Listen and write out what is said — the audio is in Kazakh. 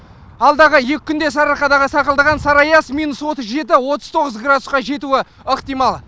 алдағы екі күнде сарыарқадағы сақалдаған сары аяз минус отыз жеті отыз тоғыз градусқа жетуі ықтимал